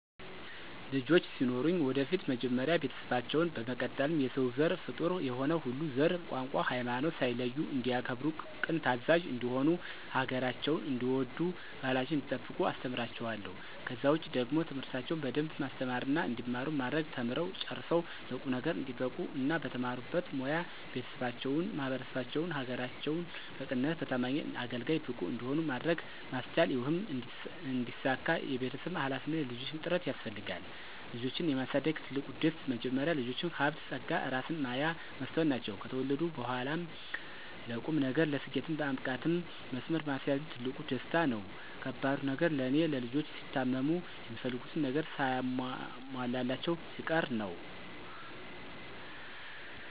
ልጆች ሲኖሩኝ ወደፊት መጀመሪያ ቤተሰባቸውን፣ በመቀጠልም የሰው ዘር ፍጡር የሆነ ሁሉ ዘር፣ ቋንቋ፣ ሀይማኖት ሳይለዩ እንዲያከብሩ ቅን ታዛዥ እንዲሆኑ ሀገራቸውን እንዲወዱ ባህላቸውን እንዲጠብቁ አስተምራቸዋለሁ። ከዛ ውጪ ደግሞ ትምህርታቸውን በደንብ ማስተማርና እንዲማሩ ማድረግ ተምረው ጨርሰው ለቁም ነገር እንዲበቁ እና በተማሩበት ሞያ ቤተሰባቸውን፣ ማህበረሰባቸውን፣ ሀገራቸውን በቅንነትና በታማኝነት አገልጋይ፣ ብቁ እንዲሆኑ ማድረግ ማስቻል ይህም እንዲሳካ የቤተሰብም ሀላፊነት የልጆችም ጥረት ያስፈልጋል። ልጆችን የማሳደግ ትልቁ ደስ፦ መጀመሪያ ልጆች ሀብት ፀጋ እራስን ማያ መስታወት ናቸው። ከተወለዱ በኋላም ለቁም ነገር፣ ለስኬት ማብቃትም መስመር ማስያዝም ትልቁ ደስታ ነው። ከባዱ ነገር ለኔ፦ ልጆች ሲታመሙ፣ የሚፈልጉትን ነገር ሳይሟላላቸው ሲቀር ነው።